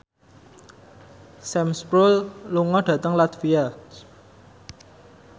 Sam Spruell lunga dhateng latvia